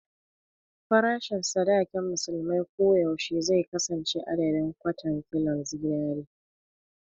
Farashin sadakin musulmai ko yaushe zai kasance adadin "kwatan kilon zinari"